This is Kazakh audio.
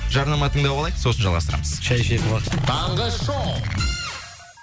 жарнама тыңдап алайық сосын жалғастырамыз шәй ішетін уақыт таңғы шоу